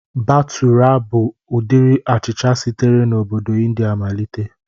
Batụra bụ ụdịrị achịcha sitere na obodo Ịndia malịte